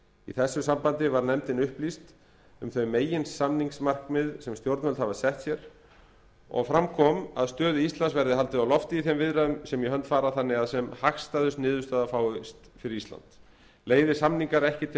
í þessu sambandi var nefndin upplýst um þau meginsamningsmarkmið sem stjórnvöld hafa sett sér og fram kom að stöðu íslands verði haldið á lofti í þeim viðræðum sem í hönd fara þannig að sem hagstæðust niðurstaða fáist fyrir ísland leiði samningar ekki til